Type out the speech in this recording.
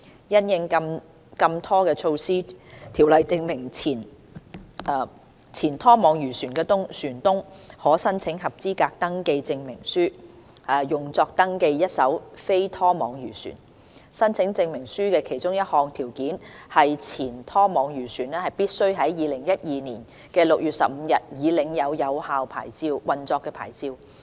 因應禁拖措施，《條例》訂明前拖網漁船的船東可申請合資格登記證明書，用作登記一艘非拖網漁船。申請證明書的其中一項條件是前拖網漁船必須在2012年6月15日已領有有效運作牌照。